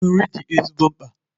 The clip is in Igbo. Nri dị ezigbo mkpa